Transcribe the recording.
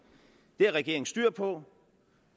det har regeringen styr på